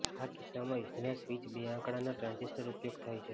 આ કિસ્સામાં યોજના સ્વિચ બે આંકડાના ટ્રાન્ઝિસ્ટર ઉપયોગ થાય છે